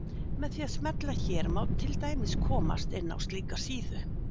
Með því að smella hér má til dæmis komast inn á slíka síðu.